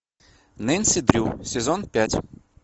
нэнси дрю сезон пять